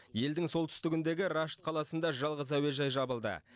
елдің солтүстігіндегі рашт қаласында жалғыз әуежай жабылды